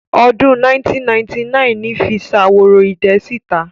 Ọdún 1999 ni fi Ṣaworoidẹ sí ìta.